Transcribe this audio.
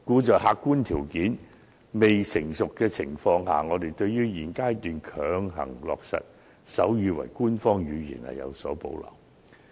在客觀條件未成熟的情況下，我們對於在現階段強行落實手語為官方語言，有所保留。